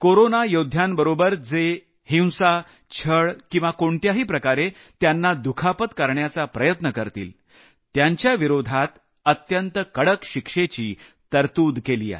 corona योद्ध्यांबरोबर जे हिंसा छळ किंवा कोणत्याही प्रकारे त्यांना दुखापत करण्याचा प्रयत्न करतील त्यांच्याविरोधात अत्यंत कडक शिक्षेची तरतूद केली आहे